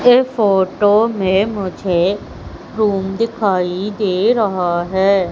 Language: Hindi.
ये फोटो में मुझे रूम दिखाई दे रहा है।